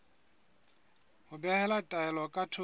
ho behela taelo ka thoko